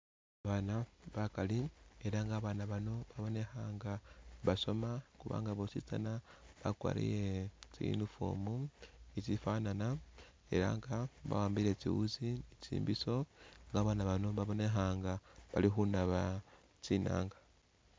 Abaana bakali ela nga babaana bano nga basoma kubanga bositsana bakwarire tsi uniform itsifanana ela nga bawambile tsiwutsi ni tsibisho, babaana bano babonekha nga balikhunaba tsinanga